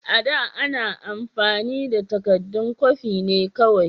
A da, ana amfani da takaddun kwafi ne kawai.